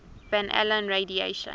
van allen radiation